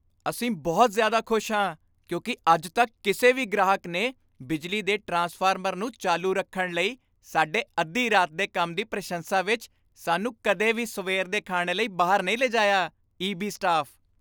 ਅਸੀਂ ਬਹੁਤ ਜ਼ਿਆਦਾ ਖੁਸ਼ ਹਾਂ ਕਿਉਂਕਿ ਅੱਜ ਤੱਕ ਕਿਸੇ ਵੀ ਗ੍ਰਾਹਕ ਨੇ ਬਿਜਲੀ ਦੇ ਟ੍ਰਾਂਸਫਾਰਮਰ ਨੂੰ ਚਾਲੂ ਰੱਖਣ ਲਈ ਸਾਡੇ ਅੱਧੀ ਰਾਤ ਦੇ ਕੰਮ ਦੀ ਪ੍ਰਸ਼ੰਸਾ ਵਿੱਚ ਸਾਨੂੰ ਕਦੇ ਵੀ ਸਵੇਰ ਦੇ ਖ਼ਾਣੇ ਲਈ ਬਾਹਰ ਨਹੀਂ ਲਿਜਾਇਆ ਈ.ਬੀ. ਸਟਾਫ